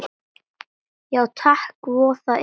Já takk, voða indælt